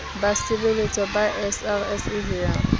basebeletswa ba srsa ho ya